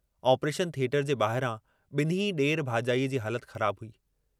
Operation theatre जे बाहिरां ॿिन्हीं ॾेर भाॼाईअ जी हालत ख़राबु हुई।